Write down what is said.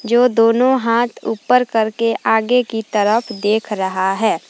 जो दोनों हाथ ऊपर करके आगे की तरफ देख रहा है।